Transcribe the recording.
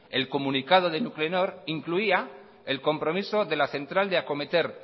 el comunicado de nuclenor incluía el compromiso de la central de acometer